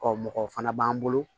Ɔ mɔgɔ fana b'an bolo